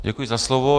Děkuji za slovo.